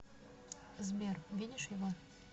сбер видишь его